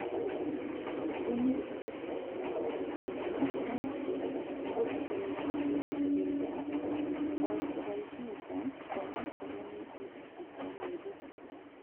Thumu ũthondeketwo na ind ngũrani no mũhaka ũcenjio ihindi okwaihinda onakorwo nĩ ihinda thutha wa mĩeri ĩtatũ